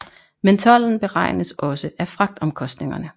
Men tolden beregnes også af fragtomkostningerne